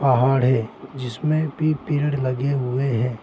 पहाड़ है जिसमें भी पेड़ लगे हुए हैं।